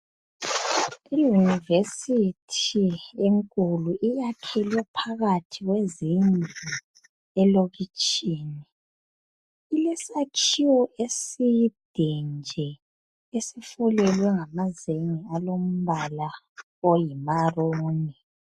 Iyunivesithi enkulu iyakhelwe phakathi kwezindlu elokitshini ilesakhiwo eside nje esifulelwe ngamazenge alombala oyi maruni.